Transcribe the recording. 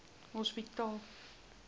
hospitaal